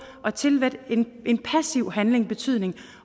at tillægge en passiv handling betydning